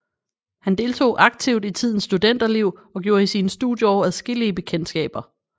Han deltog aktivt i tidens studenterliv og gjorde i sine studieår adskillige bekendtskaber